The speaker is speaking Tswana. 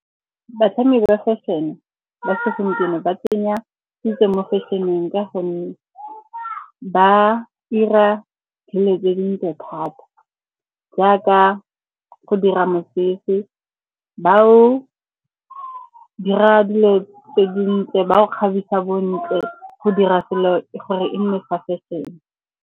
Batlhami ba fashion-e tsena ba tsenya ke mo fashion-eng ka gonne ba 'ira dilo tse dintle thata, jaaka go dira mosese. Ba o dira dilo tse dintle ba o kgabisa bontle, go dira selo gore e nne sa fashion-e.